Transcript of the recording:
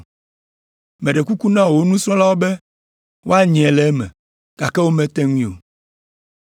Meɖe kuku na wò nusrɔ̃lawo be woanyae le eme, gake womete ŋui o.”